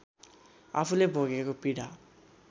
आफूले भोगेको पीडा